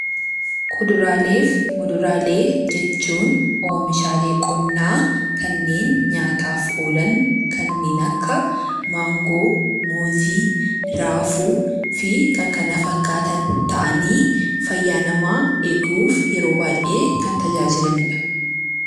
Kuduraalee fi Muduraalee jechuun oomishaalee qonnaa kanneen nyaataaf oolan kanneen akka maangoo, muuzii, raafuu fi kanneen kana fakkaatan ta'anii fayyaa namaa eeguuf yeroo baay'ee kan tajaajilanidha.